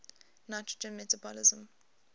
nitrogen metabolism